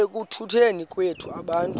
ekutuneni kwethu abantu